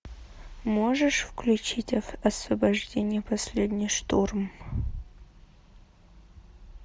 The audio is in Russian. можешь включить освобождение последний штурм